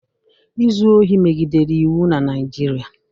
Izu ohi megidere iwu na Naịjirịa.